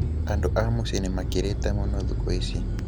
andũ a mũcĩĩ nĩmakĩrĩte mũno thĩkũ ici